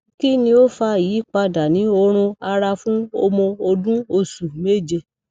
kini o fa iyipada ni orun ara fun omo odun osu meje